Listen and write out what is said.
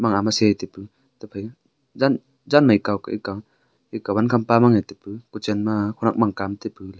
ema ama taipu tephai janmai kaw ka eka eka wankham pa mange taipu kuchen ma khenak mangma taipu.